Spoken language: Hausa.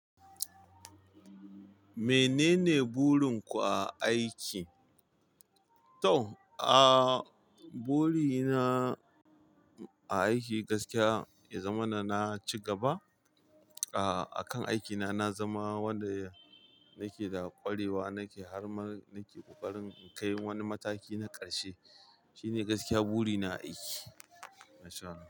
Menene burinku a aiki? To, ah, buri na aiki gaskiya ya zama na na ci gaba ah, a kan aikina. Na zama wanda nake da ƙwarewa, nake har ma nake ƙoƙarin in kai wani mataki na ƙarshe. Shi ne gaskiya buri na aiki. Masha Allah.